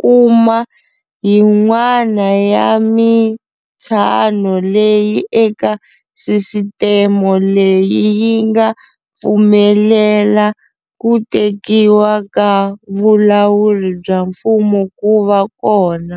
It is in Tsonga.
kuma yin'wana ya mitsano leyi eka sisiteme leyi yi nga pfumelela ku tekiwa ka vulawuri bya mfumo ku va kona.